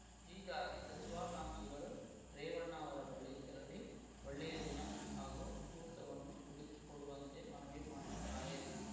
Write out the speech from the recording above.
ಹೀಗಾಗಿ ಸಚಿವಾಕಾಂಕ್ಷಿಗಳು ರೇವಣ್ಣ ಅವರ ಬಳಿ ತೆರಳಿ ಒಳ್ಳೆಯ ದಿನ ಹಾಗೂ ಮುಹೂರ್ತವನ್ನು ಹುಡುಕಿಕೊಡುವಂತೆ ಮನವಿ ಮಾಡಿದ್ದಾರೆ